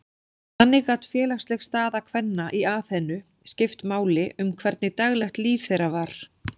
Þannig gat félagsleg staða kvenna í Aþenu skipt máli um hvernig daglegt líf þeirra var.